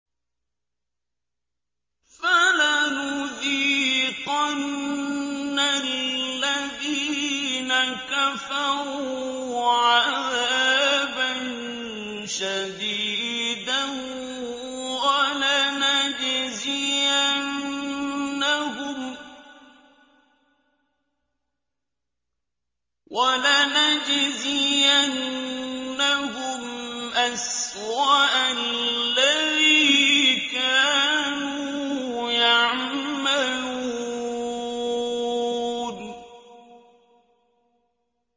فَلَنُذِيقَنَّ الَّذِينَ كَفَرُوا عَذَابًا شَدِيدًا وَلَنَجْزِيَنَّهُمْ أَسْوَأَ الَّذِي كَانُوا يَعْمَلُونَ